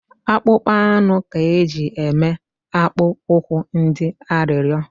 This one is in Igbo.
Akpụkpọ anụ ka eji eme akpụ ụkwụ ndị arịrịo